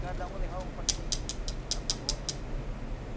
Cada um levava um panheirinho lá para roça.